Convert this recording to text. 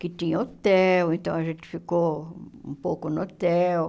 Que tinham hotel, então a gente ficou um pouco no hotel.